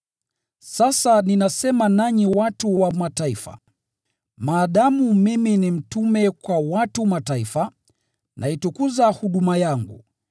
Sasa ninasema nanyi watu wa Mataifa. Maadamu mimi ni mtume kwa watu wa Mataifa, naitukuza huduma yangu